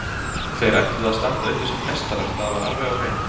Og þeir ætluðu að standa uppi sem meistarar, það var alveg á hreinu.